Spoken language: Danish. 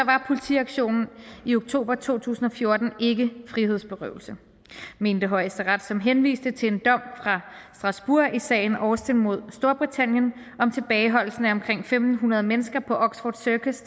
var politiaktionen i oktober to tusind og fjorten ikke frihedsberøvelse mente højesteret som henviste til en dom fra strasbourg i sagen austin mod storbritannien om tilbageholdelse af omkring en tusind fem hundrede mennesker på oxford circus